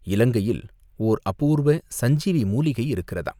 இலங்கையில் ஓர் அபூர்வ சஞ்சீவி மூலிகை இருக்கிறதாம்.